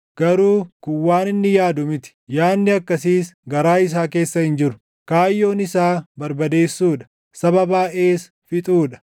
Garuu kun waan inni yaadu miti; yaadni akkasiis garaa isaa keessa hin jiru; kaayyoon isaa barbadeessuu dha; saba baayʼees fixuu dha.